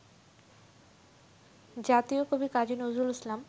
জাতীয় কবি কাজী নজরুল ইসলাম